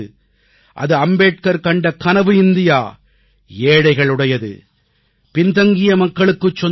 அது அம்பேத்கர் கண்ட கனவு இந்தியா ஏழைகளுடையது பின் தங்கிய மக்களுக்குச் சொந்தமானது